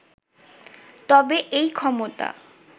তবে এই ক্ষমতা